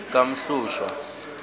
kamhlushwa